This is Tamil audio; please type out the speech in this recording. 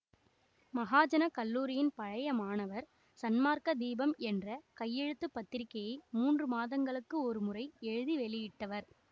மகாஜனக்கல்லூரியின் பழைய மாணவர் சன்மார்க்க தீபம் என்ற கையெழுத்து பத்திரிகையை மூன்று மாதங்களுக்கு ஒரு முறை எழுதி வெளியிட்டவர்